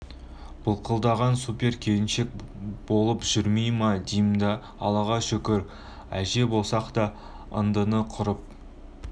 былқылдаған супер келинчек болеееп жүрмей ма дим да аллаға шүкір әже болсақ та ындыны құрып